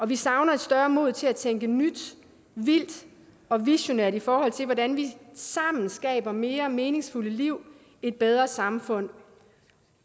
vi savner et større mod til at tænke nyt vildt og visionært i forhold til hvordan vi sammen skaber mere meningsfulde liv et bedre samfund